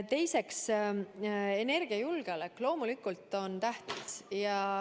Teiseks, energiajulgeolek on loomulikult tähtis.